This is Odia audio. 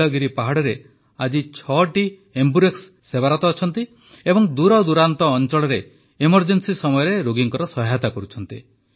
ନୀଳଗିରି ପାହାଡ଼ରେ ଆଜି ୬ ଏମ୍ବୁରେକ୍ସ ସେବାରତ ଅଛନ୍ତି ଏବଂ ଦୂରଦୂରାନ୍ତ ଅଞ୍ଚଳରେ ଏମର୍ଜେନ୍ସି ସମୟରେ ରୋଗୀଙ୍କ ସହାୟତା କରୁଛନ୍ତି